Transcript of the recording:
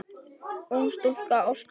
Ung stúlka óskast.